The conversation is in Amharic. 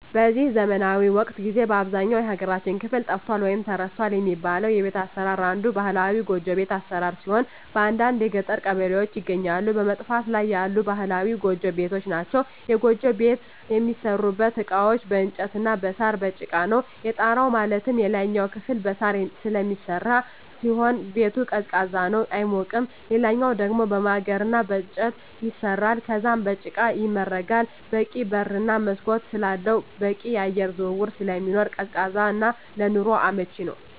በዚህ ዘመናዊ ወቅት ጊዜ በአብዛኛው የሀገራችን ክፍል ጠፍቷል ወይም ተረስቷል የሚባለው የቤት አሰራር አንዱ ባህላዊ ጎጆ ቤት አሰራር ሲሆን በአንዳንድ የገጠር ቀበሌዎች ይገኛሉ በመጥፋት ላይ ያሉ ባህላዊ ጎጆ ቤቶች ናቸዉ። የጎጆ ቤት የሚሠሩበት እቃዎች በእንጨት እና በሳር፣ በጭቃ ነው። የጣራው ማለትም የላይኛው ክፍል በሳር ስለሚሰራ ሲሆን ቤቱ ቀዝቃዛ ነው አይሞቅም ሌላኛው ደሞ በማገር እና በእንጨት ይሰራል ከዛም በጭቃ ይመረጋል በቂ በር እና መስኮት ስላለው በቂ የአየር ዝውውር ስለሚኖር ቀዝቃዛ እና ለኑሮ አመቺ ነው።